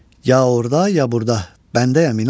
Ya orda, ya burda, bəndəyəm, inan!